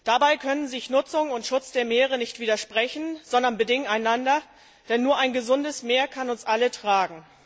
Dabei können sich Nutzung und Schutz der Meere nicht widersprechen, sondern sie bedingen einander, denn nur ein gesundes Meer kann uns alle tragen.